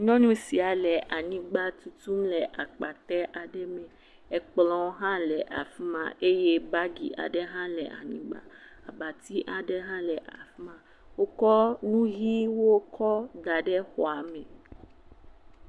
Nyɔnu sia le anyigba tutum le akpatɛ aɖe me, ekplɔ ha le afima, ye bagi aɖe ha le anyigba, abati aɖe ha le afima, wo kɔ nu ɣie wo kɔ da ɖe xɔame.